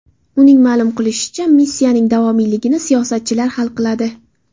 Uning ma’lum qilishicha, missiyaning davomiyligini siyosatchilar hal qiladi.